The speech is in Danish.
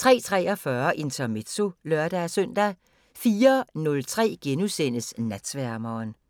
03:43: Intermezzo (lør-søn) 04:03: Natsværmeren *